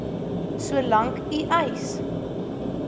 solank u eis